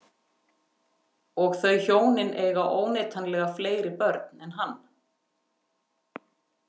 Og þau hjónin eiga óneitanlega fleiri börn en hann.